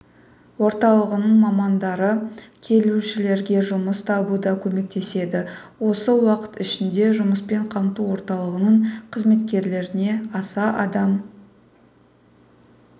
орталығының мамандары келушілерге жұмыс табуда көмектеседі осы уақыт ішінде жұмыспен қамту орталығының қызметкерлеріне аса адам